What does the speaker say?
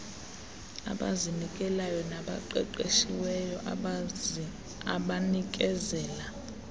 abazinikeleyo nabaqeqeshiweyo abanikezela